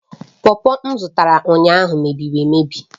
pọpọ m zụtara ụnyaahụ mebiri emebi